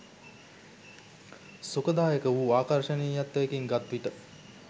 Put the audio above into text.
සුඛදායක වූ ආකර්ෂණීයත්වයකින් ගත්විට